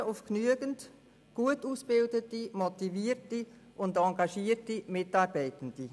Die Polizei ist auf genügend gut ausgebildete, motivierte und engagierte Mitarbeitende angewiesen.